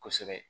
Kosɛbɛ